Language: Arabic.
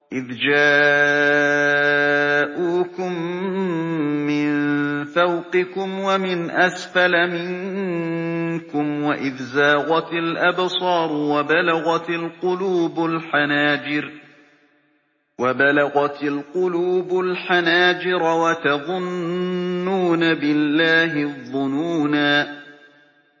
إِذْ جَاءُوكُم مِّن فَوْقِكُمْ وَمِنْ أَسْفَلَ مِنكُمْ وَإِذْ زَاغَتِ الْأَبْصَارُ وَبَلَغَتِ الْقُلُوبُ الْحَنَاجِرَ وَتَظُنُّونَ بِاللَّهِ الظُّنُونَا